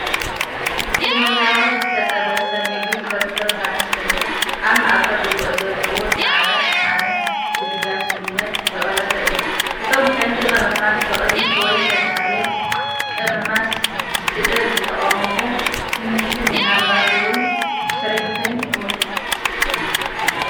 ቀመማዊ ዝተጠብሰ ምግቢ ፍርፍር ባኒ ኮይኑ፡ ኣብ ማእኸል ርግኦ ዘለዎ ኣብ ጻዕዳ ሻሓነ ብለጋስነት ዝቐረበ እዩ። እቶም ቀንዲ ቀመማት ብቐይሕ ወይ ተመሳሳሊ ቀመማት ስለዝተቐመሙ፡ ድንሽን ምናልባት እውን ሽሪምፕን ይመስሉ።